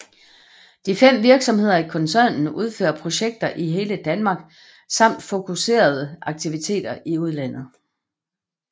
De fem virksomheder i koncernen udfører projekter i hele Danmark samt fokuserede aktiviteter i udlandet